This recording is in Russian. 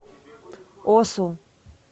осу